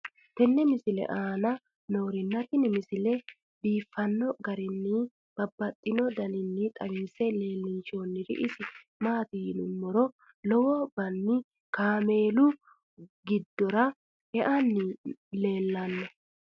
tenne misile aana noorina tini misile biiffanno garinni babaxxinno daniinni xawisse leelishanori isi maati yinummoro lowo banni kaammelu giddora eanni leelanno